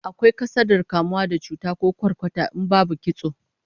Akwai kasadar kamuwa da cuta ko kwarkwata in babu kitso